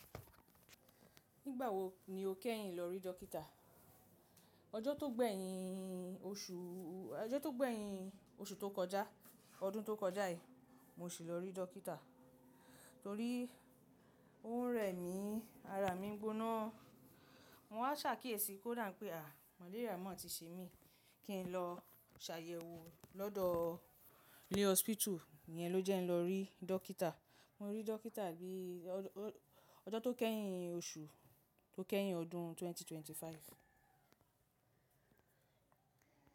Nígbà wo ni o kẹ́yìn lọ rí dọ́kítà? Ọjọ́ tó gbẹ́yìn oṣùù, ọjọ́ tó gbẹ́yìn oṣù tó kọjá ọdún tó kọjá yìí, mo ṣì lọ rí dọ́kítà. Torí ó ń rẹ̀ mí, ara mi ń gbóná. Mọ wá ṣakíyèsi pé ódà pé à, màléríà mọ́ ti ṣe mí, kí n lọ ṣàyẹ̀wò lọ́dọ̀ ní hospital, iyẹn ló jẹ́ n lọ rí dọ́kítà. Mo rí dọ́kítà ní ọ̀ ọjọ́ tó kẹ́yìn oṣù tó kẹ́yìn ọdún ẹgbẹ̀rún méjì ó lé ẹ́ẹ́dọ́gbọ̀n.